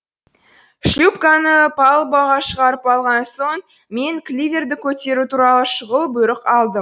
шлюпканы палубаға шығарып алған соң мен кливерді көтеру туралы шұғыл бұйрық алдым